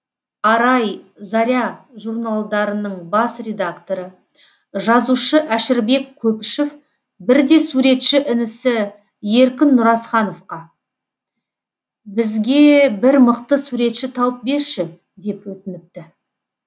арай заря журналдарының бас редакторы жазушы әшірбек көпішев бірде суретші інісі еркін нұразхановқа бізге бір мықты суретші тауып берші деп өтініпті